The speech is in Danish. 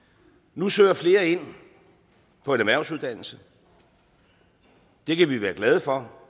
nu søger flere ind på en erhvervsuddannelse det kan vi være glade for